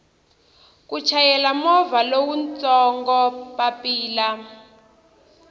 ku chayela movha lowutsongo papila